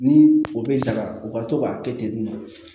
Ni o bɛ daga u ka to k'a kɛ ten nɔ